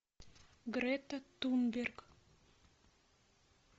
грета тунберг